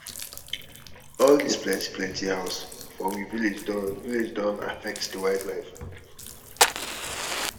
all dis plenty plenty house for um we village don um village don um affect di wildlife.